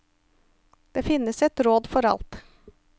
Det finnes et råd for alt.